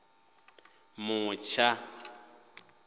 mutsha